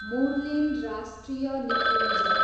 मुर्लेन राष्ट्रिय निकुञ्ज